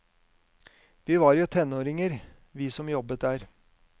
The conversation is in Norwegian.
Vi var jo tenåringer, vi som jobbet der.